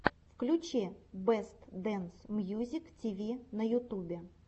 включи бэст дэнс мьюзик тиви на ютубе